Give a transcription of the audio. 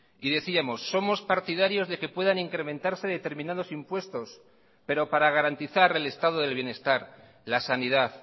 y decíamos somos partidarios de que puedan incrementarse determinados impuestos pero para garantizar el estado del bienestar la sanidad